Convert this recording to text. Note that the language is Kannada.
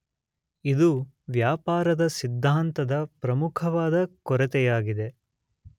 ಇದು ವ್ಯಾಪಾರದ ಸಿದ್ಧಾಂತದ ಪ್ರಮುಖವಾದ ಕೊರತೆಯಾಗಿದೆ